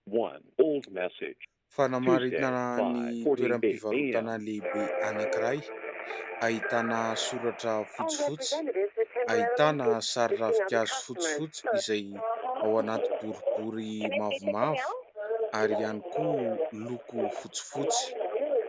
Fanamaritana ny toeram-pivarotana lehibe anankiray : ahitana soratra fotsifotsy, ahitana sary ravinkazo fotsifotsy ; izay ao anaty boribory mavomavo ary ihany koa miloko fotsifotsy.